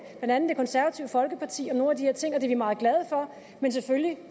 blandt andet det konservative folkeparti om nogle af de her ting og det er vi meget glade for men selvfølgelig